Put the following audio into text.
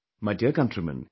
My dear countrymen